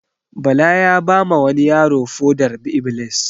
Bala ya ba ma wani yaro foɗar-iblis